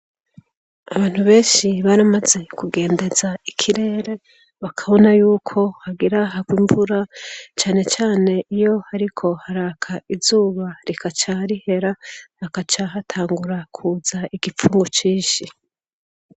Abantu benshi baramaze kugendeza ikirere bakabona yuko hagiraharwa imvura canecane iyo, ariko haraka izuba rikaca rihera bakaca hatangura kuza igipfumu cishi.